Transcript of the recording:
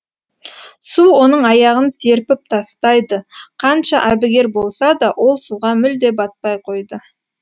су оның аяғын серпіп тастайды қанша әбігер болса да ол суға мүлде батпай қойды